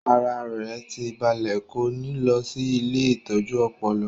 Ara rẹ̀ tí ń balẹ̀ kò ní lọ sí ilée ìtọ́jú ọpọlọ